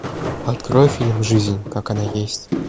открой фильм жизнь как она есть